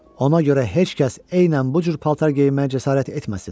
Ona görə heç kəs eynən bu cür paltar geyinməyə cəsarət etməsin.